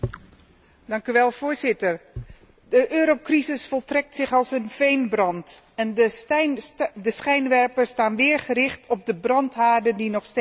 Voorzitter, de eurocrisis voltrekt zich als een veenbrand, en de schijnwerpers staan weer gericht op de brandhaarden die nog steeds oplaaien.